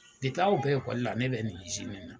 aw bɛ ekɔli la ne bɛ nin na.